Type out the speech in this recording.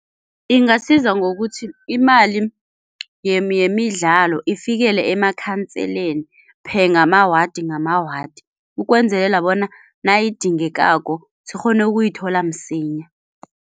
Ingasiza ngokuthi imali yemidlalo ifikele emakhanseleni per ngamawadi ngamawadi ukwenzelela bona nayidingekako sikghone ukuyithola msinya.